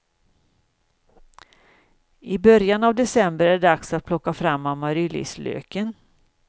I början av december är det dags att plocka fram amaryllislöken.